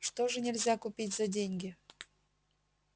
что же нельзя купить за деньги